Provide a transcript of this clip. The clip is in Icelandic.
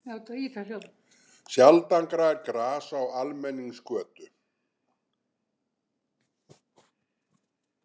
Sjaldan grær gras á almenningsgötu.